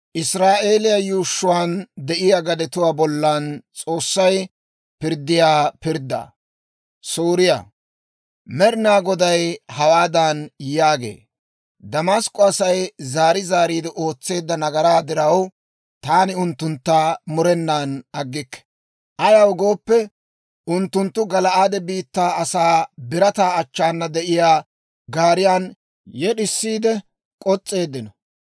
Med'inaa Goday hawaadan yaagee; «Damask'k'o Asay zaari zaariide ootseedda nagaraa diraw, taani unttuntta murenan aggikke. Ayaw gooppe, unttunttu Gala'aade biittaa asaa birataa achchaana de'iyaa gaariyan yed'isiide k'os's'eeddino.